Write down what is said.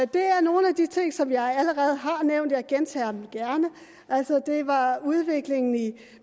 det er nogle af de ting som jeg allerede har nævnt og jeg gentager dem gerne altså det var udviklingen